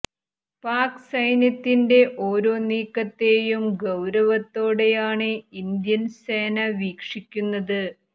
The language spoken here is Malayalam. പാക് സൈന്യത്തിന്റെ ഓരോ നീക്കത്തെയും ഗൌരവത്തോടെയാണ് ഇന്ത്യന് സേന വീക്ഷിക്കുന്നത്